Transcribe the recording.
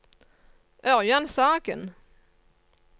Ørjan Sagen